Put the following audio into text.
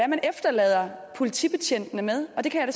efterlader politibetjentene med det kan jeg